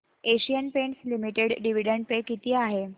Asian Paints Limited dividend pay किती आहे